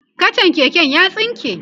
kachan keken ya tsinke